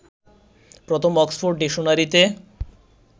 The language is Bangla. প্রথম অক্সফোর্ড ডিকশনারিতে